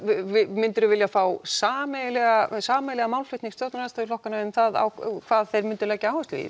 myndirðu vilja fá sameiginlegan sameiginlegan málflutning stjórnarandstöðuflokkana um það hvað þeir myndu leggja áherslu á